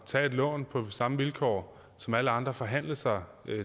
tage et lån på samme vilkår som alle andre og forhandle sig